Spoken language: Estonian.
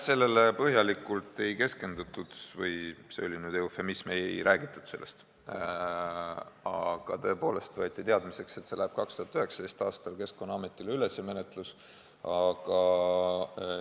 Sellele põhjalikult ei keskendutud või – see oli nüüd eufemism – sellest ei räägitudki, aga tõepoolest võeti teadmiseks, et 2019. aastal läheb see menetlus üle Keskkonnaametile.